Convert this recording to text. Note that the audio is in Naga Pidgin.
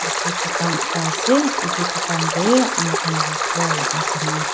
yati dukan ekta ase itu dukan tey ami khan la ghor laga saman.